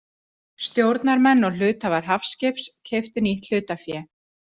Stjórnarmenn og hluthafar Hafskips keyptu nýtt hlutafé.